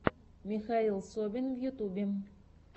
михаил собин в ютубе